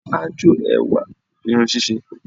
Ájò ẹwà ni irun ṣíṣe